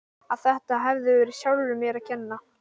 Að þetta hefði verið mér sjálfri að kenna.